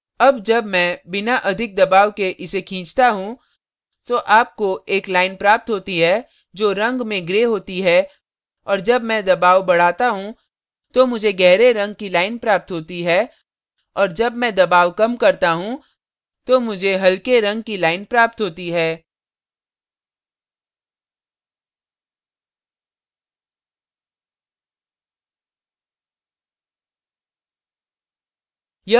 अब जब मैं बिना अधिक दबाव के इसे खींचता हूँ तो आपको एक line प्राप्त होती है जो रंग में gray होती है और जब मैं दबाव बढ़ाता हूँ तो मुझे gray रंग की line प्राप्त होती है और जब मैं दबाव कम करता हूँ तो मुझे हल्के रंग की line प्राप्त होती है